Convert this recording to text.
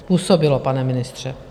Způsobilo, pane ministře.